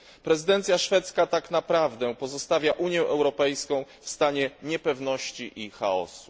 Prezydencja szwedzka tak naprawdę pozostawia Unię Europejską w stanie niepewności i chaosu.